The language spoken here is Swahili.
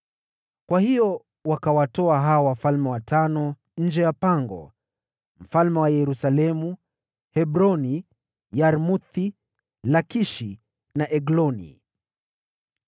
Kwa hiyo wakawatoa hao wafalme watano nje ya pango: wafalme wa Yerusalemu, Hebroni, Yarmuthi, Lakishi na Egloni.